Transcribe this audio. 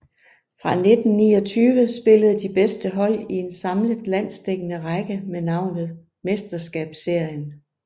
Fra 1929 spillede de bedste hold i en samlet landsdækkende række med navnet Mesterskabsserien